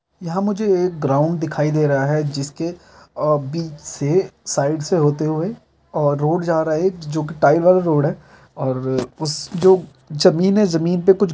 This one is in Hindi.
मुझे एक ग्राउंड दिखाई दे रहा है जिसके अ बीच से साइड से होते हुए और रोड जा रहा है एक जो की टाइबर रोड है और उस जो जमीन है जमीन पे कुछ घास उग रही है और पेड़ उग रहा है।